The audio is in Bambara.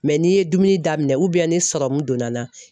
n'i ye dumuni daminɛn ni sɔrɔmu donna n na